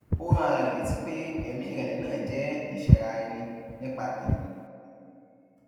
ó rán ara rè létí pé èmí ìrèlè náà jé ìsẹra ẹni nípa tẹmí